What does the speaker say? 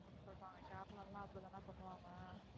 அப்டின்னு சொல்றாங்க கேரளாவுல எல்லாம் அப்டி தான பண்ணுவாங்க,